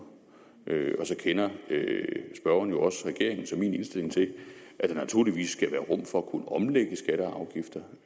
og så kender spørgeren jo også regeringens og min indstilling til at der naturligvis skal være rum for at kunne omlægge skatter og afgifter